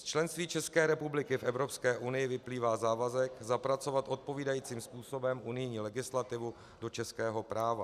Z členství České republiky v Evropské unii vyplývá závazek zapracovat odpovídajícím způsobem unijní legislativu do českého práva.